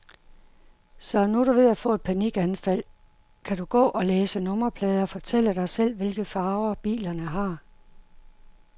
Så når du er ved at få et panikanfald, kan du gå og læse nummerplader, fortælle dig selv, hvilke farver bilerne har.